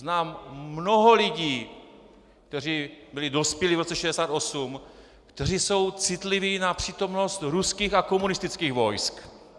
Znám mnoho lidí, kteří byli dospělí v roce 1968, kteří jsou citliví na přítomnost ruských a komunistických vojsk.